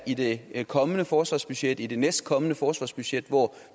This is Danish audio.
i det kommende forsvarsbudget i det næstkommende forsvarsbudget hvor